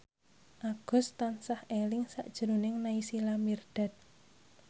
Agus tansah eling sakjroning Naysila Mirdad